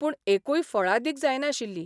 पूण एकूय फळादीक जायनाशिल्ली.